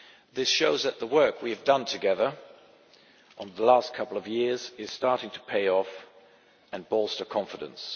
This shows that the work we have done together over the last couple of years is starting to pay off and bolster confidence.